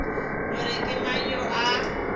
gore ke mang yo a